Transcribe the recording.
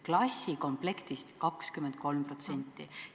Klassikomplektist 23%!